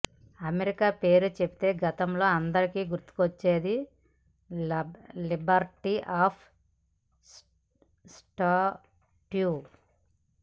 America పేరు చెప్తే గతంలో అందరికి గుర్తొచ్చేది లిబర్టీ ఆఫ్ స్టాట్యూ